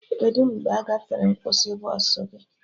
Kedụ mgbe agafere nkwụsị bọsụ gị?